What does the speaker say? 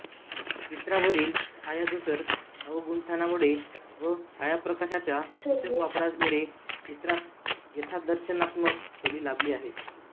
चित्रावरील छायाधूसर अवगुंठनामुळे व छायाप्रकाशाच्या सूचक वापरामुळे चित्रास यथादर्शनात्मक खोली लाभली आहे